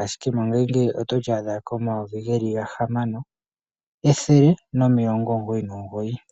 ashike mongashingeyi otoli adha komayovi geli gahamano ethele nomilongo omugoyi nomugoyi.